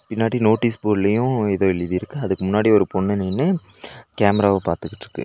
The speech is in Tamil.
பின்னாடி நோட்டீஸ் போர்டுலயு ஏதோ எழுதிருக்கு அதுக்கு முன்னாடி ஒரு பொண்ணு நின்னு கேமராவ பாத்துகிட்ருக்கு.